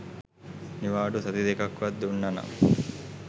නිවාඩු සති දෙකක්වත් දුන්න නං